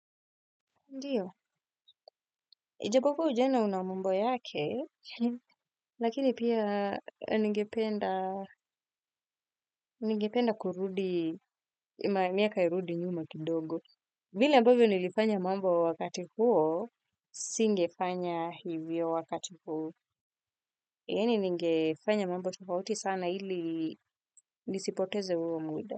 Ndiyo, ijapokuwa ujana una mambo yake, lakini pia ningependa kurudi, miaka irudi nyuma kidogo. Vile ambavyo nilifanya mambo wakati huo, singefanya hivyo wakati huu. Yani ningefanya mambo tofauti sana ili nisipoteze huo muda.